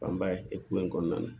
Fanba ye hukumu in kɔnɔna na